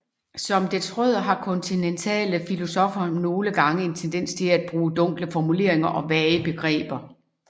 Som dets rødder har kontinentale filosoffer nogle gange en tendens til at bruge dunkle formuleringer og vage begreber